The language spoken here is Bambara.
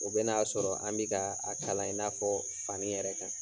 O bɛna a sɔrɔ an be kaa a kalan i n'a fɔ fani yɛrɛ kan.